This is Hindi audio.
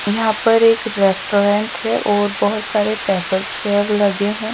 यहाँ पर एक रेस्टोरेंट है और बहोत सारे टेबल चेयर लगे हैं।